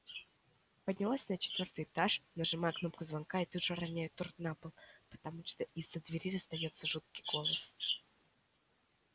поднялась на четвёртый этаж нажимаю кнопку звонка и тут же роняю торт на пол потому что из-за двери раздаётся жуткий голос